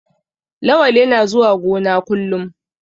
Lawal yana zuwa gona kullum.